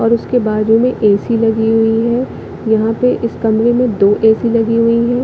और उसके बाजु में ए_सी लगी हुई है यहाँ पे इस कमरे में दो ए_सी लगी हुई है।